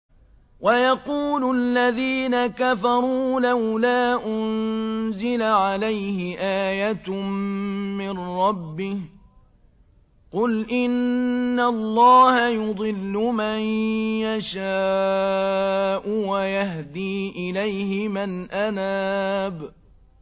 وَيَقُولُ الَّذِينَ كَفَرُوا لَوْلَا أُنزِلَ عَلَيْهِ آيَةٌ مِّن رَّبِّهِ ۗ قُلْ إِنَّ اللَّهَ يُضِلُّ مَن يَشَاءُ وَيَهْدِي إِلَيْهِ مَنْ أَنَابَ